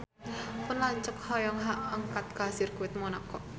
Pun lanceuk hoyong angkat ka Sirkuit Monaco